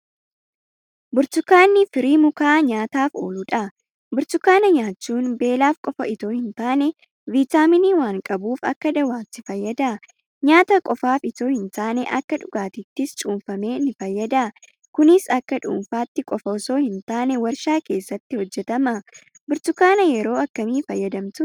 Burtukaanni firii mukaa nyaataaf ooludha. Burtukaana nyaachuun beelaaf qofa itoo hintaane viitaaminii waan qabuuf akka dawaatti fayyada. Nyaata qofaaf itoo hintaane akka dhugaatiittis cuunfamee nifayyada. Kunis akka dhuunfaatti qofa itoo hintaane warshaa keessatti hojjetama. Burtukaana yeroo akkamii fayyadamtu?